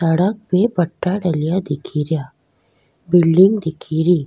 सड़क पे पट्टा डलया दिखेरा बिल्डिंग दिखेरी।